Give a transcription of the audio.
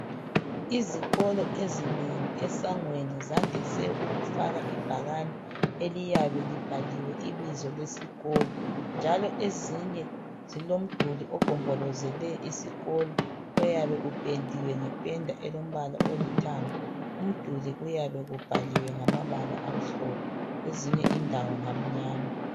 Izikolo ezinengi esangweni zandise ukufaka ibhakane eliyabe libhaliwe ibizo lesikolo. Njalo ezinye zilomduli ogombolozele isikolo oyabe upendiwe, ngependa elombala olithanga. Umduli uyabe ubhaliwe ngamabala amhlophe kwezinye indawo ngamnyama.